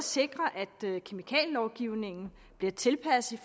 sikre at kemikalielovgivningen bliver tilpasset